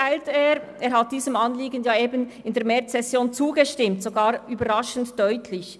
Der Nationalrat hat diesem Anliegen in der Märzsession zugestimmt, sogar überraschend deutlich.